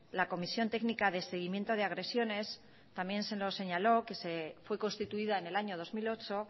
la comisión técnica de seguimiento de agresiones también se nos señaló que fue constituida en el año dos mil ocho